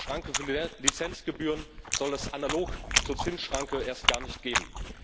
Eine Schranke für Lizenzgebühren soll es analog zur Zinsschranke erst gar nicht geben.